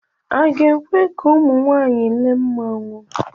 A ga-ekwe ka ụmụ nwaanyị lee mmanwụ